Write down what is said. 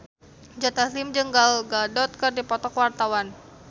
Joe Taslim jeung Gal Gadot keur dipoto ku wartawan